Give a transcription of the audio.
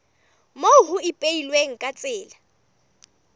moo ho ipehilweng ka tsela